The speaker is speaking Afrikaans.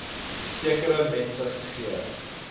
sekere mense gegee